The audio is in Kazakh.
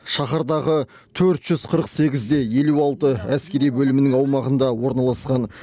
шаһардағы төрт жүз қырық сегіз де елу алты әскери бөлімінің аумағында орналасқан